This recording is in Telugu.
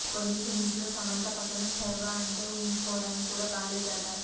కొన్ని సీన్స్ లో సమంత పక్కన శర్వా అంటే ఊహించుకోవడానికి కూడా బాలేదట